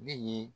Ne ye